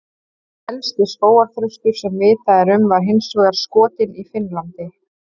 Elsti skógarþröstur sem vitað er um var hins vegar skotinn í Finnlandi.